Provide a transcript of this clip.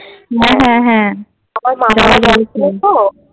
হ্যাঁ হ্যাঁ হ্যাঁ